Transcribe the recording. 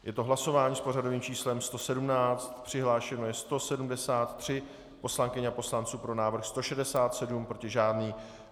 Je to hlasování s pořadovým číslem 117, přihlášeno je 173 poslankyň a poslanců, pro návrh 167, proti žádný.